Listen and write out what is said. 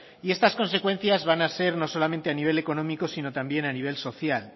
y estas consecuencias van a ser no solamente a nivel económico sino también a nivel social